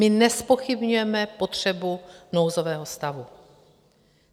My nezpochybňujeme potřebu nouzového stavu.